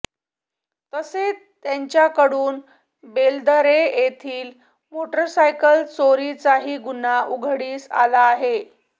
तसेच त्यांच्याकडून बेलदरे येथील मोटरसायकल चोरीचाही गुन्हा उघडकीस आला आहे